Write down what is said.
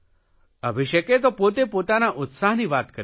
અભિષેકે તો પોતે પોતાના ઉત્સાહની વાત કરી છે